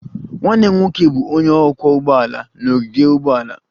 Nwanne m nwoke bụ onye ọkwọ ụgbọala n'ogige ụgbọala